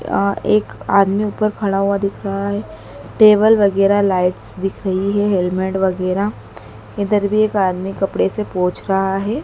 अ एक आदमी ऊपर खड़ा हुआ दिख रहा है टेबल वगेरा लाइट्स दिख रही है हेलमेट वगैरा इधर भी एक आदमी कपड़े से पोछ रहा है।